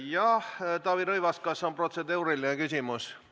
Jah, Taavi Rõivas, kas on protseduuriline küsimus?